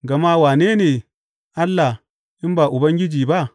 Gama wane ne Allah in ba Ubangiji ba?